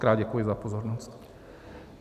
Mockrát děkuji za pozornost.